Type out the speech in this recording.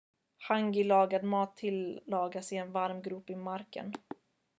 hangi-lagad mat tillagas i en varm grop i marken